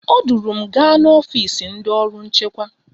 O duru m gaa n'ọfisi ndị ọrụ nchekwa